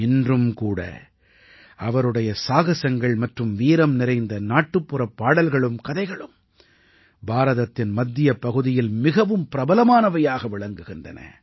இன்றும் கூட அவருடைய சாகஸங்கள் மற்றும் வீரம் நிறைந்த நாட்டுப்புறப் பாடல்களும் கதைகளும் பாரதத்தின் மத்திய பகுதியில் மிகவும் பிரபலமானவையாக விளங்குகின்றன